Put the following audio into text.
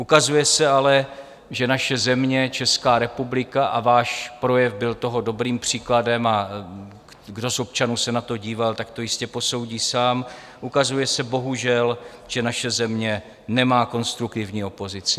Ukazuje se ale, že naše země, Česká republika - a váš projev byl toho dobrým příkladem, a kdo z občanů se na to díval, tak to jistě posoudí sám - ukazuje se bohužel, že naše země nemá konstruktivní opozici.